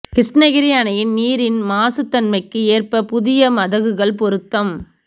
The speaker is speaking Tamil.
கிருஷ்ணகிரி அணையில் நீரின் மாசு தன்மைக்கு ஏற்ப புதிய மதகுகள் பொருத்தம்